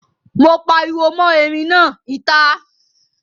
Mo pariwo mọ́ erin náà, ìta!